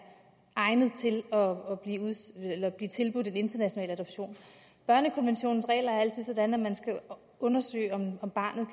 egnet til at blive tilbudt en international adoption børnekonventionens regler er altid sådan at man skal undersøge om barnet